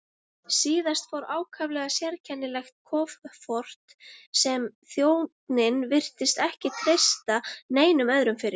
Síðast fór ákaflega sérkennilegt kofort sem þjónninn virtist ekki treysta neinum öðrum fyrir.